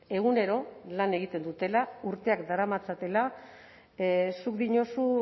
egunero lan egiten dutela urteak daramatzatela zuk diozu